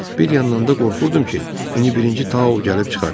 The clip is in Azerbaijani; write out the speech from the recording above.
Bir yandan da qorxurdum ki, indi birinci Tao o gəlib çıxar.